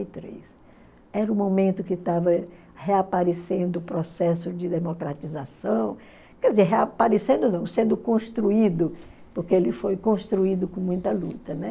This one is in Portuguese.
Era o momento que estava reaparecendo o processo de democratização, quer dizer, reaparecendo não, sendo construído, porque ele foi construído com muita luta, né?